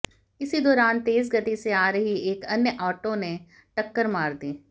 इसी दौरान तेज गति से आ रही एक अन्य आटो ने टक्कर मार दी